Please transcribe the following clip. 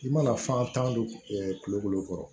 I mana fan tan don kulokolon kɔrɔ